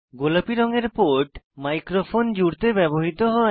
গোলাপী রঙের port microphone জুড়তে ব্যবহৃত হয়